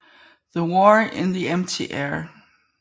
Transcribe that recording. The War in the Empty Air